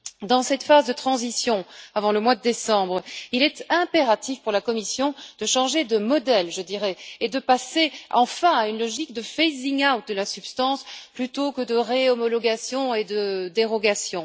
Dans cette phase de transition, avant le mois de décembre, il est impératif pour la Commission de changer de modèle et de passer enfin à une logique d'interdiction progressive de la substance, plutôt que de réhomologation et de dérogation.